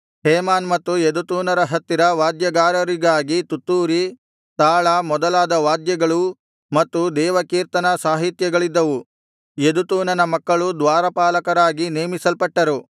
Heman ಮತ್ತು ಯೆದುತೂನರ ಹತ್ತಿರ ವಾದ್ಯಗಾರರಿಗಾಗಿ ತುತ್ತೂರಿ ತಾಳ ಮೊದಲಾದ ವಾದ್ಯಗಳೂ ಮತ್ತು ದೇವಕೀರ್ತನಾ ಸಾಹಿತ್ಯಗಳಿದ್ದವು ಯೆದುತೂನನ ಮಕ್ಕಳು ದ್ವಾರಪಾಲಕರಾಗಿ ನೇಮಿಸಲ್ಪಟ್ಟರು